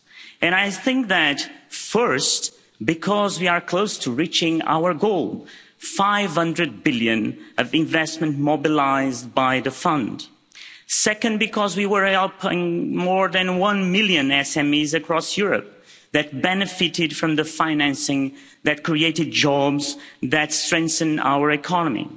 And I think that, first, because we are close to reaching our goal 500 billion of investment mobilised by the Fund. Second, because we were helping more than one million SMEs across Europe that benefited from the financing, that created jobs, that strengthened our economy.